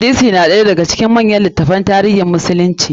Hadisi ɗaya ne daga cikin manyan takaddu na tarihin musulunci.